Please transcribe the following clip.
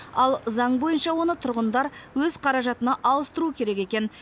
ал заң бойынша оны тұрғындар өз қаражатына ауыстыруы керек екен